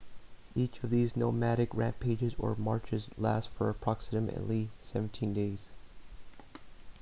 each of these nomadic rampages or marches lasts for approximately 17 days